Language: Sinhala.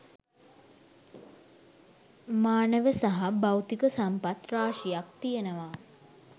මානව සහ භෞතික සම්පත් රාශියක් තියෙනවා.